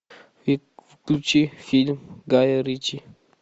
включи фильм гая ричи